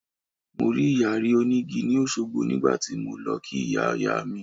Mo rí Ìyàrí òní igi ni Òṣogbo nígbà tí mo lọ kí Ìyá Ìyá mi.